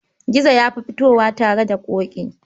Gizo ya fi fitowa tare da Ƙoƙi.